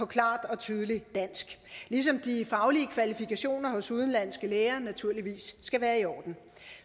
klart og tydeligt dansk ligesom de faglige kvalifikationer hos udenlandske læger naturligvis skal være i orden